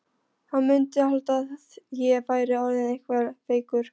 Hann mundi halda að ég væri orðinn eitthvað veikur.